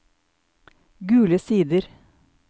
Gule Sider